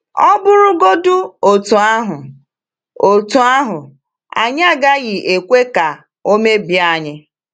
Ọ̀ bụrụgodị otú ahụ, otú ahụ, anyị agaghị ekwe ka ọ mebie anyị.